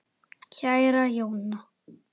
Kæra Jóna.